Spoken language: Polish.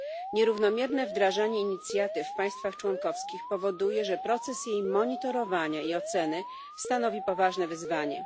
Nierównomierne wdrażanie Inicjatywy w państwach członkowskich powoduje, że proces jej monitorowania i oceny stanowi poważne wyzwanie.